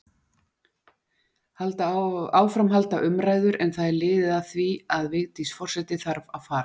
Áfram halda umræður, en það er liðið að því að Vigdís forseti þarf að fara.